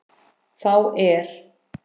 Þá er